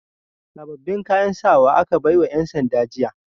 Sababbin kayan sawa aka bai wa 'yansanda jiya.